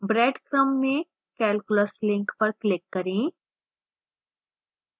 breadcrumb में calculus link पर click करें